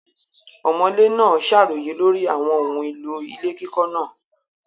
Ọ̀mọ̀lé náà ṣàròyé lórí àwọn ohun èlò ilé kíkọ́ náà.